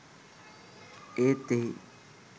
ඒත් එහි